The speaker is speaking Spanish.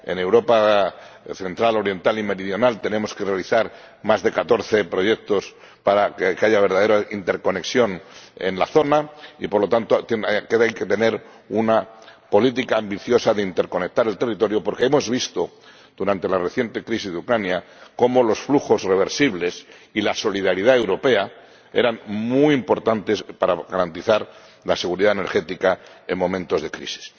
en Europa central, oriental y meridional tenemos que realizar más de catorce proyectos para que haya verdadera interconexión en la zona. Y, por lo tanto, también hay que tener una política ambiciosa de interconectar el territorio, porque hemos visto, durante la reciente crisis de Ucrania, cómo los flujos reversibles y la solidaridad europea eran muy importantes para garantizar la seguridad energética en momentos de crisis.